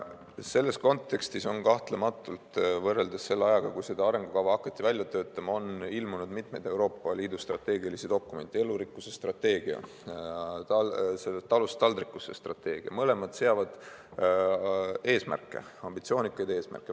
Selles kontekstis on kahtlemata võrreldes selle ajaga, kui seda arengukava hakati välja töötama, ilmunud mitmeid Euroopa Liidu strateegilisi dokumente: elurikkuse strateegia, "Talust taldrikule" strateegia – mõlemad seavad eesmärke, ambitsioonikaid eesmärke.